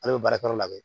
Ale bɛ baarakɛyɔrɔ labɛn